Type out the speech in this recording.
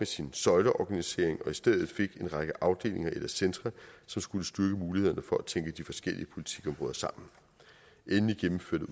sin søjleorganisering og i stedet fik en række afdelinger eller centre som skulle styrke mulighederne for at tænke de forskellige politikområder sammen endelig gennemførte